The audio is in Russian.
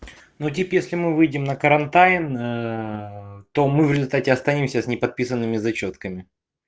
ну типа если мы выйдем на карантин то мы в результате останемся с ней подписанными зачётками